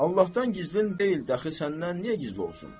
Allahdan gizlin deyil, dəxi səndən niyə gizli olsun?